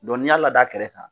ni y'a lada a kɛrɛ kan